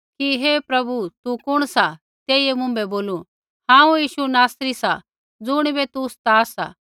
कि हे प्रभु तू कुण सा तेइयै मुँभै बोलू हांऊँ यीशु नासरी सा ज़ुणिबै तू सता सा